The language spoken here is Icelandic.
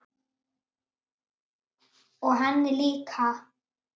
Og henni líka.